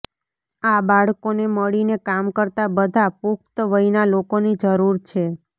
આ બાળકોને મળીને કામ કરતા બધા પુખ્ત વયના લોકોની જરૂર છે